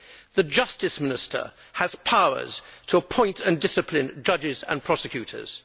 The Justice Minister has powers to appoint and discipline judges and prosecutors.